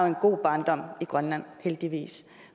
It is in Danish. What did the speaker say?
en god barndom heldigvis